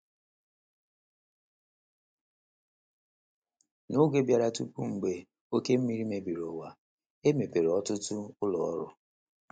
N’oge bịara tupu mgbe oke mmiri mebiri uwa, e mepere ọtụtụ ụlọ ọrụ.